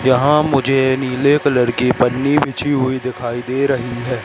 यहां मुझे नीले कलर की पन्नी बिछी हुई दिखाई दे रही है।